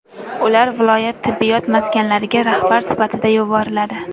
Ular viloyat tibbiyot maskanlariga rahbar sifatida yuboriladi.